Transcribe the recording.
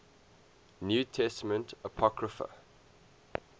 new testament apocrypha